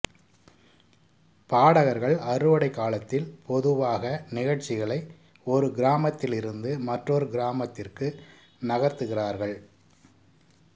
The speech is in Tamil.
பாடகர்கள் அறுவடை காலத்தில் பொதுவாக நிகழ்ச்சிகளை ஒரு கிராமத்திலிருந்து மற்றொரு கிராமத்திற்கு நகர்த்துகிறார்கள்